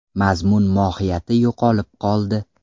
Mazmun-mohiyati yo‘qolib qoldi.